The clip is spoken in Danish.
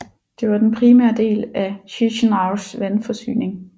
Det var den primære del af Chişinăus vandforsyning